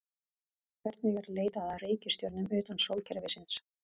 Hvernig er leitað að reikistjörnum utan sólkerfisins?